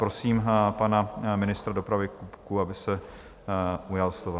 Prosím pana ministra dopravy Kupku, aby se ujal slova.